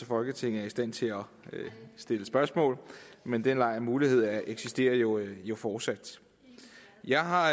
folketinget er i stand til at stille spørgsmål men den mulighed eksisterer jo jo fortsat jeg har